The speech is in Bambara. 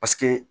Paseke